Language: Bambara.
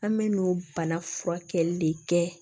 An bɛ n'o bana furakɛli de kɛ